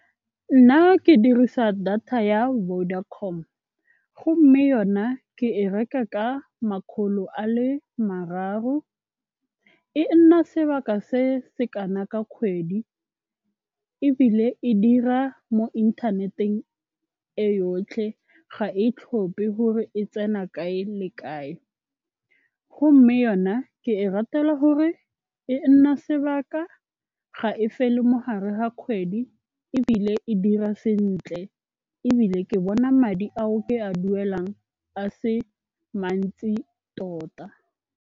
Nna ke dirisa data ya Vodacom gomme yona ke e reka ka makgolo a le mararo. E nna sebaka se se kana ka kgwedi ebile e dira mo inthaneteng e yotlhe ga e tlhophe gore e tsena kae le kae. Gomme yona ke e ratela gore e nna sebaka ga e fele mo gare ga kgwedi ebile e dira sentle. Ebile ke bona madi ao ke a duelang a se mantsi tota.